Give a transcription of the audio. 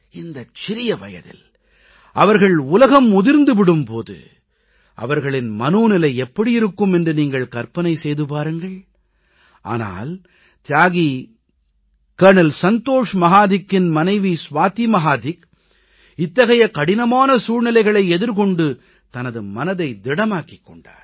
இந்தச் சிறிய வயதில் அவர்கள் உலகம் உதிர்ந்து விடும் போது அவர்கள் மனோநிலை எப்படி இருக்கும் என்று நீங்கள் கற்பனை செய்து பாருங்கள் ஆனால் தியாகி கர்னல் சந்தோஷ் மஹாதிக்கின் மனைவி சுவாதி மஹாதிக் இத்தகைய கடினமான சூழ்நிலைகளை எதிர்கொண்டு தனது மனதை திடமாக்கிக் கொண்டார்